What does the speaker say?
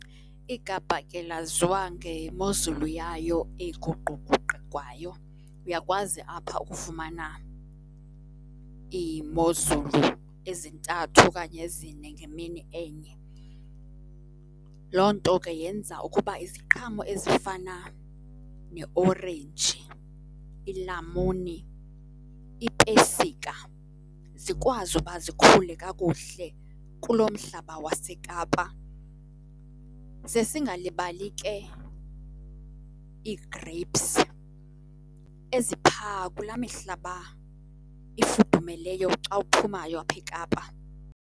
IKapa ke laziwa ngemozulu yayo eguquguqukwayo. Uyakwazi apha ukufumana iimozulu ezintathu okanye ezine ngemini enye. Loo nto ke yenza ukuba iziqhamo ezifana neeorenji, ilamuni, iipesika, zikwazi uba zikhule kakuhle kuloo mhlaba waseKapa. Ze singalibali ke ii-grapes ezi phaa kulaa mihlaba ifudumeleyo xa uphumayo apha eKapa.